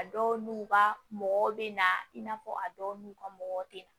A dɔw n'u ka mɔgɔw bɛ na i n'a fɔ a dɔw n'u ka mɔgɔ tɛ na